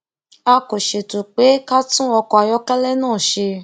a kò ṣètò pé ká tún ọkọ ayọkẹlẹ náà ṣe